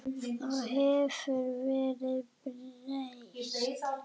Þá hefur verðið breyst.